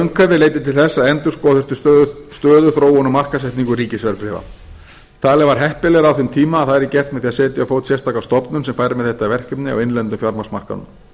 umhverfi leiddi til þess að endurskoða þurfti stöðu þróun og markaðssetningu ríkisverðbréfa talið var heppilegra á þeim tíma að það yrði gert með því að setja á fót sérstaka stofnun sem færi með þetta verkefni á innlenda fjármagnsmarkaðnum